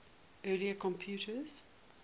early computers